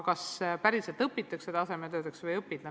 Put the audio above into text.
Kas tasemetöödeks õpitakse või ei õpita?